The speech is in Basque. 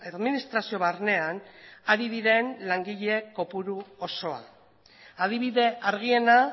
administrazio barnean ari diren langile kopuru osoa adibide argiena